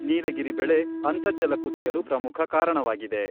ನೀಲಗಿರಿ ಬೆಳೆ ಅಂತರ್ಜಲ ಕುಸಿಯಲು ಪ್ರಮುಖ ಕಾರಣವಾಗಿದೆ.